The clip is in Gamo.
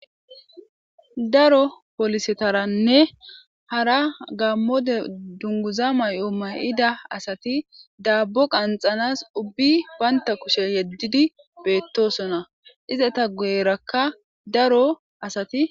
daro polisetaranne hara gammo dere dunguza mayo mayida asati daabbo qanxanas ubbi baynta kushe yeddidi beettosona izata guyerakka daro asati